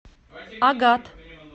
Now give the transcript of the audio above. агат